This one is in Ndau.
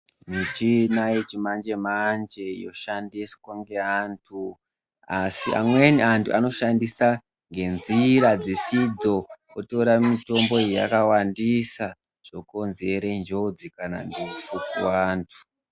Michina yechimanje-manje yoshandiswa ngeantu. Asi amweni antu anoshandisa ngenzira dzisidzo kutora mitombo iyi yakawandisa zvokonzere njodzi kana ndufu kuvantu.